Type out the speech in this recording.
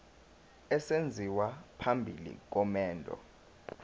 esenziwa phambi komendo